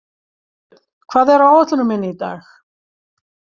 Sveinbjörn, hvað er á áætluninni minni í dag?